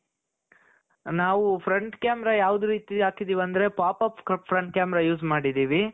ನಾವು front camera ಯಾವ ರೀತಿ ಹಾಕಿದೀವಿ ಅಂದ್ರೆ pop-up front camera use ಮಾಡಿದ್ದೀವಿ